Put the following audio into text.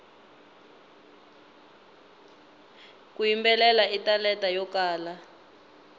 ku yimbelela i talenta yo kala